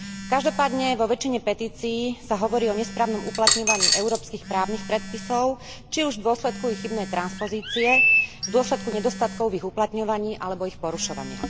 Každopádne vo väčšine petícií sa hovorí o nesprávnom uplatňovaní európskych právnych predpisov, či už v dôsledku ich chybnej transpozície, v dôsledku nedostatkov v ich uplatňovaní alebo ich porušovania.